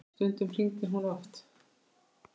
Stundum hringdi hún oft.